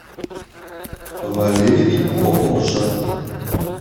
валерий ооржак